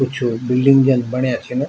कुछ बिल्डिंग जन बण्या छिन।